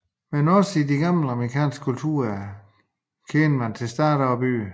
Men også i de gamle amerikanske kulturer kendte man stater og byer